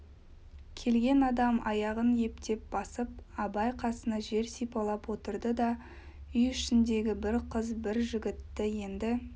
келген адам аяғын ептеп басып абай қасына жер сипалап отырды да үй ішіндегі бір қыз бір жігітті енді